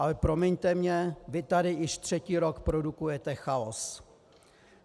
Ale promiňte mi, vy tady již třetí rok produkujete chaos.